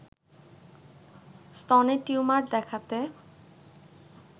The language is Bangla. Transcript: স্তনের টিউমার দেখাতে